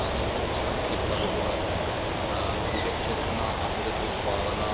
Jsem rád, že tato strategická dohoda bude uzavřena a bude tedy schválena.